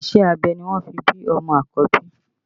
Iṣẹ́ abẹ ni wọ́n fi bí ọmọ àkọ́bí